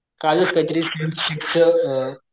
कालच काय तरी सिव्हिल शीट्स च